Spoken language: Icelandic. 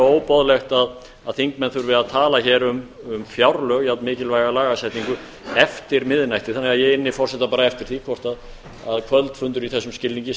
algerlega óboðlegt að þingmenn þurfi að tala hér um fjárlög jafn mikilvæga lagasetningu eftir miðnætti þannig að ég inni forseta eftir því hvort að kvöldfundur í þessum skilningi sé